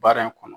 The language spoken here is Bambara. Baara in kɔnɔ